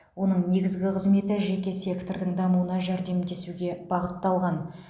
оның негізгі қызметі жеке сектордың дамуына жәрдемдесуге бағытталған